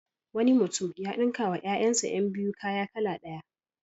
Wani mutum ya ɗinkawa ƴaƴansa ƴan biyu kaya kala ɗaya.